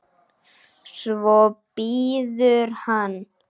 Svo bíður hann.